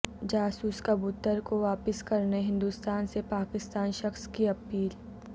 جاسوس کبوتر کو واپس کرنے ہندوستان سے پاکستانی شخص کی اپیل